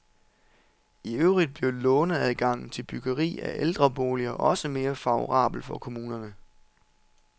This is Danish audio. I øvrigt bliver låneadgangen til byggeri af ældreboliger også mere favorabel for kommunerne.